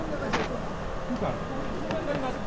தசுமோ கூறியிருக்கிறார்